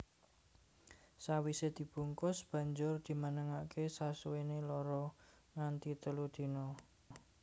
Sawisé dibungkus banjur dimenengaké sasuwené loro nganti telu dina